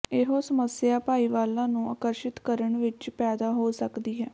ਇਹੋ ਸਮੱਸਿਆ ਭਾਈਵਾਲਾਂ ਨੂੰ ਆਕਰਸ਼ਿਤ ਕਰਨ ਵਿੱਚ ਪੈਦਾ ਹੋ ਸਕਦੀ ਹੈ